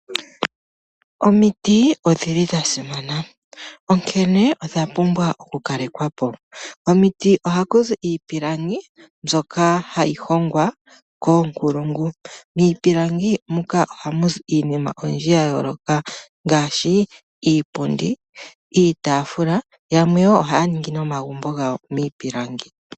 Omiti odhili dha simana, onkene odha pumbwa oku kalekwa po. Omiti ohaku zi iipilangi mbyoka hayi hongwa koonkulungu. Miipilangi muka ohamu zi iinima oyindji ya yooloka ngaashi iipundi, iitaafula yamwe yoo ohaya ningi omagumbo gawo miipilangi.